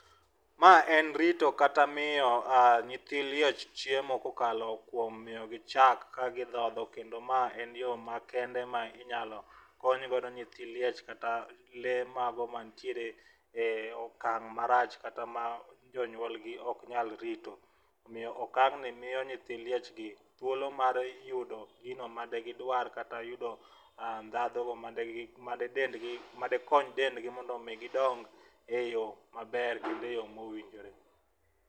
Mae en rito kata miyo nyithi liech chiemo kokalo kuom miyo gi chak ka gidhodho kendo am en yoo makende ma inyalo kony godo nyithi liech kata lee mago mantiere e okang marach ,kata ma jonyuol gi ok nyal rito. Omiyo okang' ni miyo nyithi liech gi thuolo mar yudo gino made gidwar kata yudo ndhadhu made gi made dendgi made kony dendgi mondo mi gidong maber kendo e yoo mowinjore.